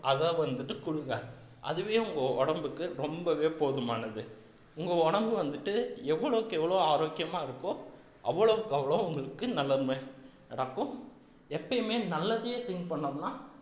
அதை வந்துட்டு கொடுங்க அதுவே உங்க உடம்புக்கு ரொம்பவே போதுமானது உங்க உடம்பு வந்துட்டு எவ்வளவுக்கு எவ்வளவு ஆரோக்கியமா இருக்கோ அவ்வளவுக்கு அவ்வளவு உங்களுக்கு நடக்கும் எப்பயுமே நல்லதயே think பண்ணோம்னா